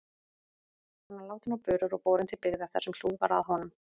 Hann var látinn á börur og borinn til byggða þar sem hlúð var að honum.